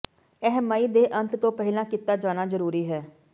ਇਹ ਮਈ ਦੇ ਅੰਤ ਤੋਂ ਪਹਿਲਾਂ ਕੀਤਾ ਜਾਣਾ ਜ਼ਰੂਰੀ ਹੈ